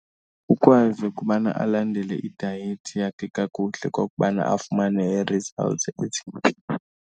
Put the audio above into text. Ukwazi ukubana alandele idayethi yakhe kakuhle okokubana afumane ii-results ezintle.